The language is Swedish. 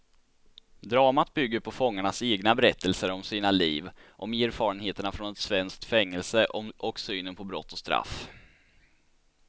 Dramat bygger på fångarnas egna berättelser om sina liv, om erfarenheterna från ett svenskt fängelse och synen på brott och straff.